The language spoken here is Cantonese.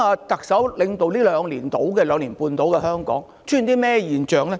特首領導香港約兩年半，其間出現甚麼現象呢？